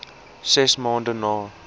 ses maande na